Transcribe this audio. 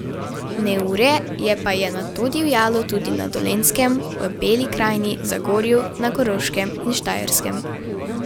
Neurje je pa je nato divjalo tudi na Dolenjskem, v Beli krajini, Zagorju, na Koroškem in Štajerskem.